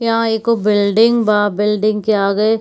यह एगो बिल्डिंग बा बिल्डिंग के आगे --